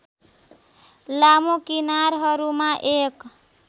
लामो किनारहरूमा एक